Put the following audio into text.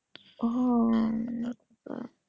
ও আহ বাহ